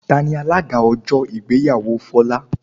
Tani alága ọjọ́ ìgbéyàwó Folá?